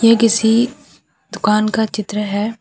ये किसी दुकान का चित्र है।